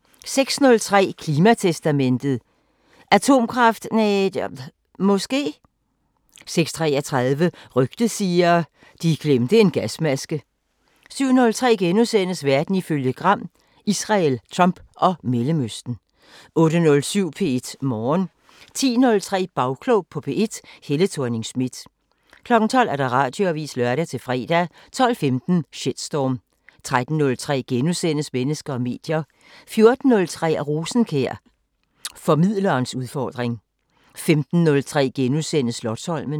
06:03: Klimatestamentet: Atomkraft Ne.. Måske? 06:33: Rygtet siger: De glemte en gasmaske 07:03: Verden ifølge Gram: Israel, Trump og Mellemøsten * 08:07: P1 Morgen 10:03: Bagklog på P1: Helle Thorning-Schmidt 12:00: Radioavisen (lør-fre) 12:15: Shitstorm 13:03: Mennesker og medier * 14:03: Rosenkjær: Formidlerens udfordring 15:03: Slotsholmen *